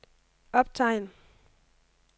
optegn